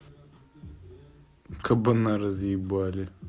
кабана разъебали